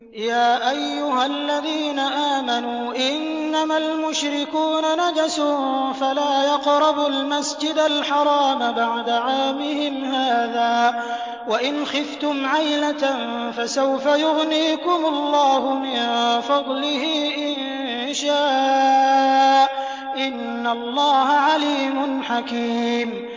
يَا أَيُّهَا الَّذِينَ آمَنُوا إِنَّمَا الْمُشْرِكُونَ نَجَسٌ فَلَا يَقْرَبُوا الْمَسْجِدَ الْحَرَامَ بَعْدَ عَامِهِمْ هَٰذَا ۚ وَإِنْ خِفْتُمْ عَيْلَةً فَسَوْفَ يُغْنِيكُمُ اللَّهُ مِن فَضْلِهِ إِن شَاءَ ۚ إِنَّ اللَّهَ عَلِيمٌ حَكِيمٌ